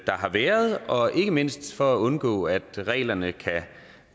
har været og ikke mindst for at undgå at reglerne kan